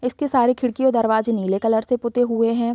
इसके सारे खिड़की और दरवाजें नीले कलर से पुते हुए हैं।